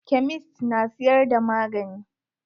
Kemist na siyar da magani.